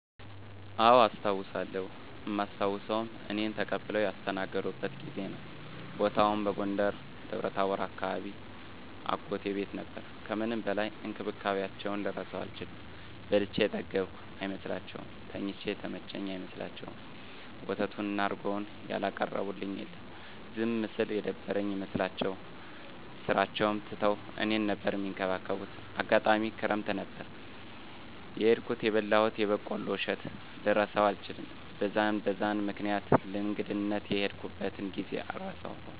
አዎ አስታዉሳለው እማስታዉሰዉም እኔን ተቀብለዉ ያስተናገዱበትን ጊዜ ነዉ። ቦታዉም በጎንደር ደብረታቦር አካባቢ አጎቴ ቤት ነበር ከምንም በላይ እንክብካቤያቸዉን ልረሳዉ አልችልም። በልቼ የጠገብኩ አይመስላቸዉም፣ ተኝቼ የተመቸኝ አይመስላቸዉም፣ ወተቱን እና እረጎዉን ያላቀረቡልኝ የለም። ዝም ስል የደበረኝ ይመስላቸዋል ስራቸዉን ትተዉ እኔን ነበር እሚንከባከቡት፣ አጋጣሚ ክረምት ነበር የሄድኩት የበላሁትን የበቆሎ እሸት ልረሳዉ አልችልም። በዛን በዛን ምክኒያት ለእንግድነት የሄድኩበትን ጊዜ አረሳዉም።